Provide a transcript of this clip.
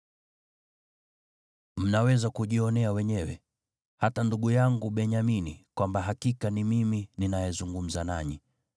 “Mnaweza kujionea wenyewe, hata ndugu yangu Benyamini, kwamba hakika ni mimi ninayezungumza nanyi.